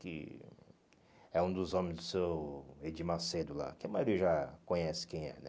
Que é um dos homens do seu Edir Macedo lá, que a maioria já conhece quem é, né?